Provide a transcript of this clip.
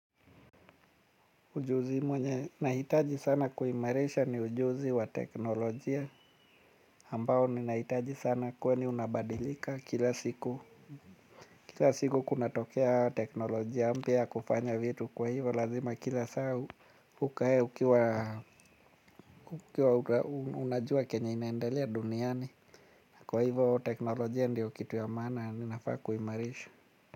Ujuzi mwenye, nahitaji sana kuimarisha ni ujuzi wa teknolojia ambao ninahitaji sana kweni unabadilika kila siku kila siku kunatokea teknolojia mpya ya kufanya vitu kwa hivo lazima kila saa hukae ukiwa ukiwa unajua kenye inaendelea duniani kwa hivo teknolojia ndio kitu ya maana ninafaa kuimarisha.